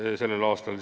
a kell 16 .